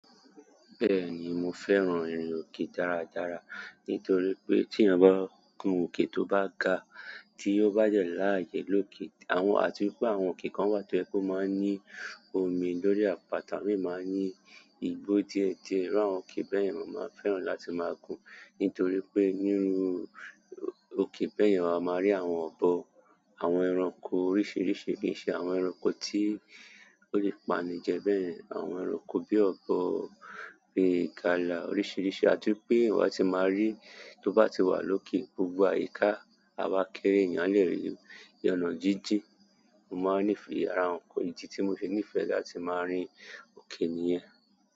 Bẹ́ẹ̀ni mo fẹ́ràn ẹrin òkè dáradára nítorípé ti èyán ba kan òkè tó ba gaa ti o ba de raye doke àti wípé àwọn òkè kan wa tó jẹ wípé o máa n ni omí lórí àpáta àwọn miran máa n ni bo ti e je díẹ̀díẹ̀, iru àwọn òkè bẹ yen mo ma n fẹ́ràn láti má gun nitoripe ìru òkè bẹ yen má má rí àwọn obo àwọn ẹranko oríṣìíríṣìí kìí ṣẹ́ àwọn ẹranko tí ó lè payan jẹ bẹ́ẹ̀ àwọn ẹranko bíi ọ̀bọ bíi ìgala oríṣìíríṣìí àti wípé ìwọ a ti máa rí tó bá ti wà lókè gbogbo àyíká á wá kéré ènìyàn le rí i ọ́nà jíjìn mo máa ń nífẹ̀ẹ́ ara ẹranko èyí tí mo fi nífẹ̀ẹ́ láti máa rin oke nìyẹn.